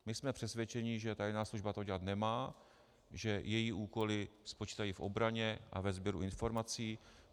My jsme přesvědčeni, že tajná služba to dělat nemá, že její úkoly spočívají v obraně a ve sběru informací.